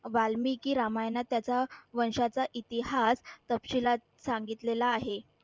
वाल्मिकी रामायणात त्याचा वंशाचा इतिहास तपशिलात सांगितलेला आहे.